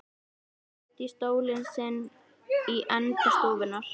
Sest í stólinn sinn í enda stofunnar.